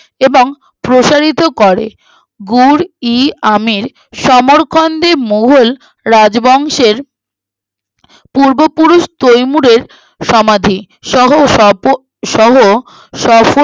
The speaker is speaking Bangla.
এবং প্রসারিত করে গুড়-ই-আমের সমরকন্দে মোঘল রাজবংশের আহ পূর্ব পুরুষ তৈমুরের সমাধি সহ সপ সহ সপো